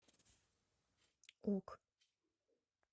ок